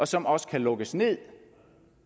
som også kan lukkes ned